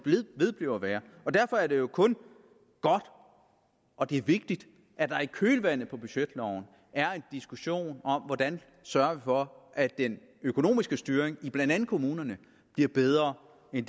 vedblive at være og derfor er det jo kun godt og det er vigtigt at der i kølvandet på budgetloven er en diskussion om hvordan vi sørger for at den økonomiske styring i blandt andet kommunerne bliver bedre end